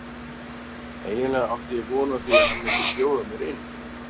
Eiginlega átti ég von á því að hann myndi bjóða mér inn.